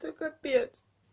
ты капец